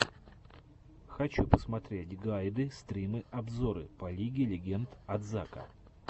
хочу посмотреть гайды стримы обзоры по лиге легенд от зака